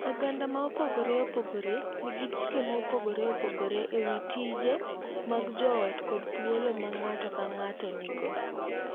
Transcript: Oganda mopogore opogore nigi chike mopogore opogore e wi tije mag joot kod thuolo ma ng’ato ka ng’ato nigo.